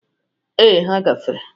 Ee, ha gafere.